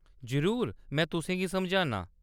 जरूर, में तुसेंगी समझान्नां ।